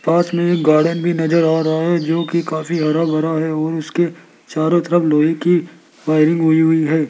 पास में एक गार्डन भी नजर आ रहा है जो कि काफी हरा भरा है और उसके चारों तरफ लोहे की वायरिंग हुई हुई है।